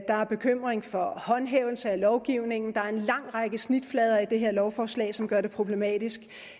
der er bekymring for håndhævelse af lovgivningen der er en lang række snitflader i det her lovforslag som gør det problematisk